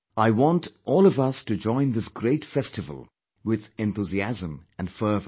I want all of us to join this great festival with enthusiasm and fervour